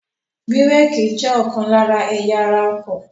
Bírèkì jẹ́ ọ̀kan lára ẹ̀yà ara ọkọ̀.